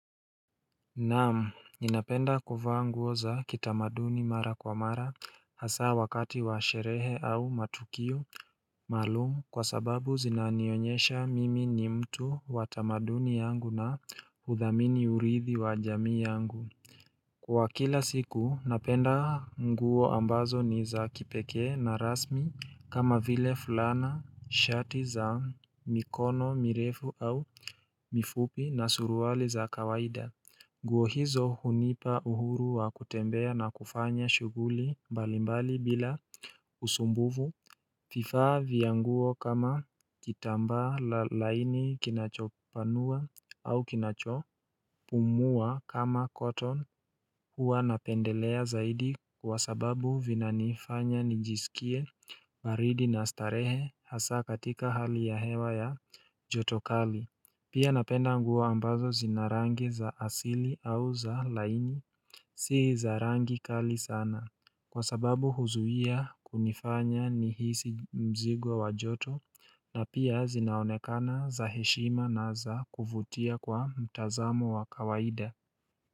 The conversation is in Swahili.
Naam ninapenda kuvaa nguo za kitamaduni mara kwa mara hasa wakati wa sherehe au matukio maalum kwa sababu zinanionyesha mimi ni mtu wa tamaduni yangu na hudhamini urithi wa jamii yangu Kwa kila siku napenda nguo ambazo ni za kipekee na rasmi kama vile fulana shati za mikono mirefu au mifupi na suruali za kawaida nguo hizo hunipa uhuru wa kutembea na kufanya shuguli mbalimbali bila usumbufu vifaa vya nguo kama kitambaa la laini kinachopanua au kinachopumua kama cotton Huwa napendelea zaidi kwa sababu vinanifanya nijisikie baridi na starehe hasa katika hali ya hewa ya joto kali Pia napenda nguo ambazo zina rangi za asili au za laini Si za rangi kali sana Kwa sababu huzuia kunifanya nihisi mzigo wa joto na pia zinaonekana za heshima na za kuvutia kwa mtazamo wa kawaida.